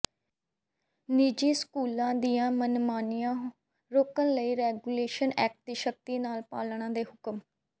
ਨਿੱਜੀ ਸਕੂਲਾਂ ਦੀਆਂ ਮਨਮਾਨੀਆਂ ਰੋਕਣ ਲਈ ਰੈਗੂਲੇਸ਼ਨ ਐਕਟ ਦੀ ਸਖ਼ਤੀ ਨਾਲ ਪਾਲਣਾ ਦੇ ਹੁਕਮ